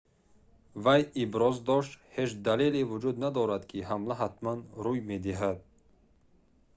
вай иброз дошт ҳеҷ далеле вуҷуд надорад ки ҳамла ҳатман рӯуй медиҳад